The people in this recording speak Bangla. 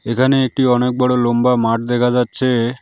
এখানে একটি অনেক বড়ো লম্বা মাঠ দেখা যাচ্ছে।